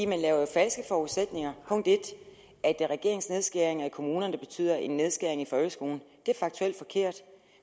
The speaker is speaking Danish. man laver jo falske forudsætninger at det er regeringens nedskæringer i kommunerne der betyder en nedskæring i folkeskolen det er faktuelt forkert